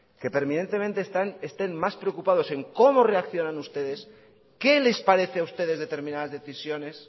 que permanentemente estén más preocupados en cómo reaccionan ustedes qué les parece a ustedes determinadas decisiones